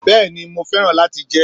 Béeni, mo féràn láti jé